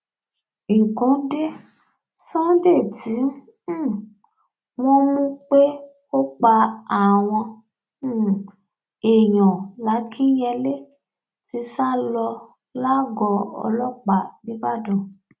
nǹkan dé sunday tí um wọn mú pé ó ń pa àwọn um èèyàn làkìnyẹlé ti sá lọ lágọọ ọlọpàá ńìbàdàn